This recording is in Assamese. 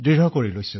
প্ৰধানমন্ত্ৰীঃ ৱাহ